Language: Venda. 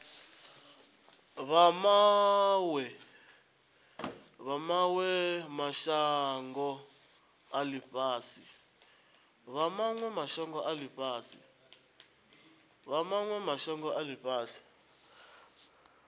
vha mawe mashango a ifhasi